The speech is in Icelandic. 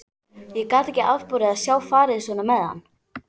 Ég gat ekki afborið að sjá farið svona með hann.